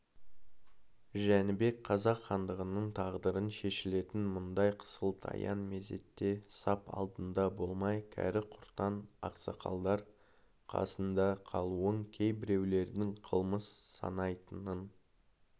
жәнібек қазақ хандығының тағдыры шешілетін мұндай қысылтаяң мезетте сап алдында болмай кәрі-құртаң ақсақалдар қасында қалуын кейбіреулердің қылмыс санайтынын